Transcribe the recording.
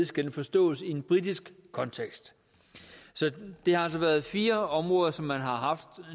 skal forstås i en britisk kontekst så det har altså været fire områder som man har haft